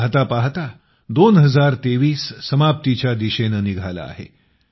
पाहता पाहता वर्ष २०२३ समाप्तीच्या दिशेंनं निघालं आहे